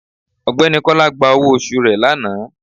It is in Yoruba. Ọgbẹni kola gba ọwọ osù re lanà